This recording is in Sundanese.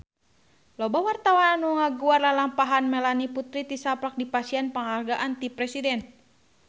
Loba wartawan anu ngaguar lalampahan Melanie Putri tisaprak dipasihan panghargaan ti Presiden